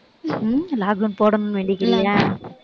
உம் lockdown போடணும்னு வேண்டிக்கிறியா